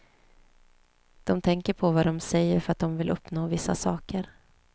De tänker på vad de säger för att de vill uppnå vissa saker.